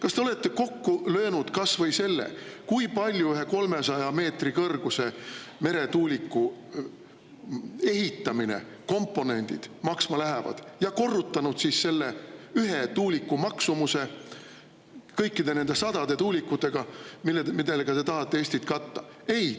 Kas te olete kokku löönud kas või selle, kui palju ühe 300 meetri kõrguse meretuuliku ehitamine ja selle komponendid maksma lähevad, ja korrutanud selle ühe tuuliku maksumuse kõikide nende sadade tuulikutega, millega te tahate Eesti katta?